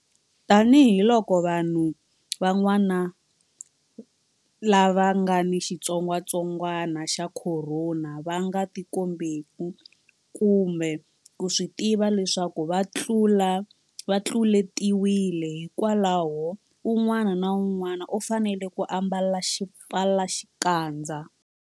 Tanihiloko vanhu van'wana lava nga ni xitsongwantsongwana xa Khorona va nga tikombeki kumbe ku swi tiva leswaku va tluletiwile, hikwalaho un'wana na un'wana u fanele ku ambala xipfalaxikandza.